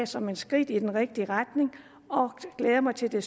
som et skridt i den rigtige retning og glæder mig til at